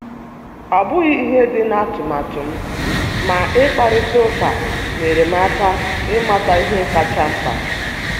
Ọ bụghị ihe dị na atụmatụ m, ma ịkparịta ụka nyeere m aka ịmata ihe kacha mkpa.